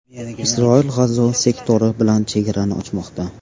Isroil G‘azo sektori bilan chegarani ochmoqda.